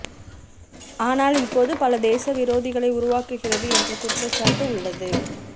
ஆனால் இப்போது பல தேச விரோதிகளை உருவாக்குகிறது என்ற குற்றச்சாட்டு உள்ளது